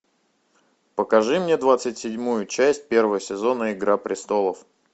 покажи мне двадцать седьмую часть первого сезона игра престолов